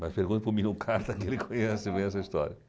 Mas pergunte para o Minucarta que ele conhece bem essa história.